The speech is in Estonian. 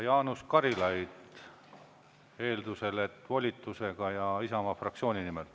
Jaanus Karilaid eeldusel, et volitusega ja Isamaa fraktsiooni nimel.